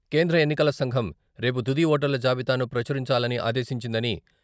కేంద్ర ఎన్నికల సంఘం రేపు తుది ఓటర్ల జాబితాను ప్రచురించాలని ఆదేశించిందని..